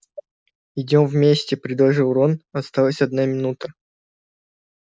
идём вместе предложил рон осталась одна минута